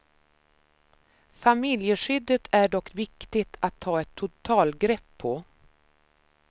Familjeskyddet är dock viktigt att ta ett totalgrepp på.